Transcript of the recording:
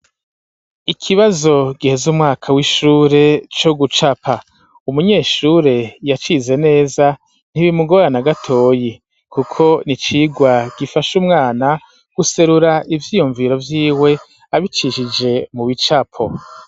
Ikibazo giheze umwaka w'ishure co gucapa umunyeshure yacize neza ntibimugorana gatoyi kuko n'icigwa gifasha umwana guserura ivyiyumviro vyiwe abicishije mu bicapo.